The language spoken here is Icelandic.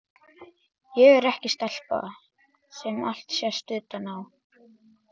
Ég er ekki stelpa sem allt sést utan á.